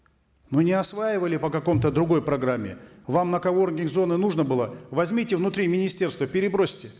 ну не осваивали по какой то другой программе вам на коворкинг зоны нужно было возьмите внутри министерства перебросьте